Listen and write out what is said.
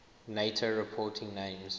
nato reporting names